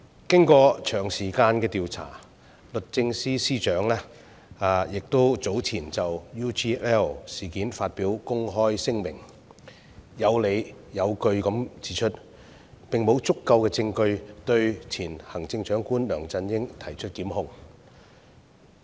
經過長時間的調查，律政司司長早前就 UGL 事件發表公開聲明，有理有據地指出，並無足夠證據對前行政長官梁振英提出檢控。